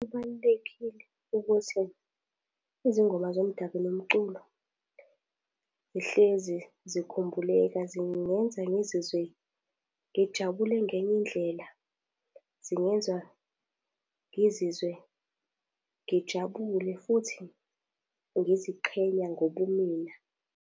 Kubalulekile ukuthi izingoma zomdabu nomculo zihlezi zikhumbuleka zingenza ngizizwe ngijabule ngenye indlela. Zingenza ngizizwe ngijabule futhi ngiziqhenya ngobumina.